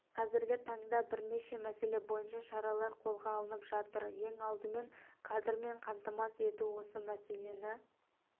қазіргі таңда бірнеше мәселе бойынша шаралар қолға алынып жатыр ең алдымен кадрмен қамтамасыз ету осы мәселені